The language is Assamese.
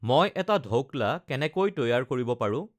মই এটা ধৌকলা কেনেকৈ তৈয়াৰ কৰিব পাৰো